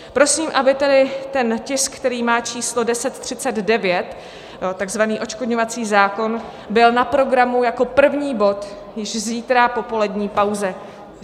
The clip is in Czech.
Prosím, aby tedy tisk, který má číslo 1039, tzv. odškodňovací zákon, byl na programu jako první bod již zítra po polední pauze.